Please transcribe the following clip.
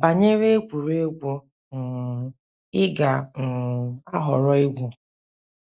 banyere egwuregwu um ị ga - um ahọrọ igwu. ”